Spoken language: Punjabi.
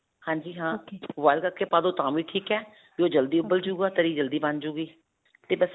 ਹਾਜੀ ਹਾਂ boil ਰੱਖਕੇ ਪਾ ਦੋ ਤਾਂ ਵੀ ਠੀਕ ਹੈ ਤੇ ਉਹ ਜਲਦੀ ਉਬਲ ਜਾਉਗਾ ਤਰੀ ਜਲਦੀ ਬਣ ਜਾਏਗੀ. ਤੇ ਬਸ